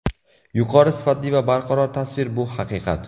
Yuqori sifatli va barqaror tasvir bu haqiqat!